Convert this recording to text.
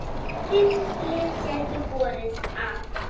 Fimm lið gætu borið af.